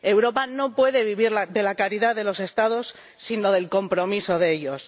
Europa no puede vivir de la caridad de los Estados, sino del compromiso de ellos.